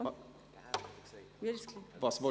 – Das ist der Fall.